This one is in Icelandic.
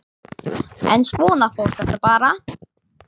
En svona fór þetta bara.